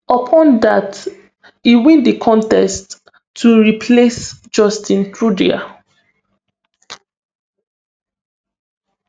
upon dat e win di contest to replace justin trudeau